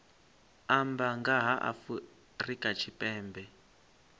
amba nga ha afrika tshipembe